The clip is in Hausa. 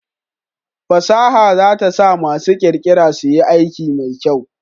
Fasaha za ta sa masu ƙirƙira suyi aiki mai kyau